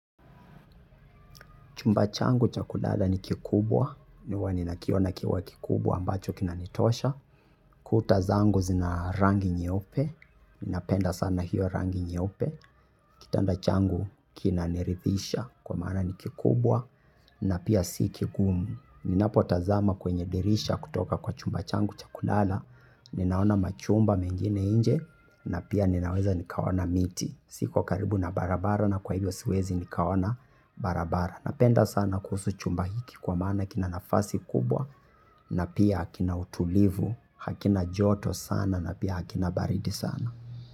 Chumba changu cha kulala ni kikubwa, huwa ninakiona kikiwa kikubwa ambacho kinanitosha. Kuta zangu zina rangi nyeupe, ninapenda sana hiyo rangi nyeupe. Kitanda changu kinaniridhisha kwa maana ni kikubwa na pia si kigumu. Ninapotazama kwenye dirisha kutoka kwa chumba changu cha kulala ninaona majumba mengine nje na pia ninaweza nikaona miti. Siko karibu na barabara na kwa hivyo siwezi nikaona barabara. Napenda sana kuhusu chumba hiki kwa maana kina nafasi kubwa na pia kina utulivu, hakina joto sana na pia hakina baridi sana.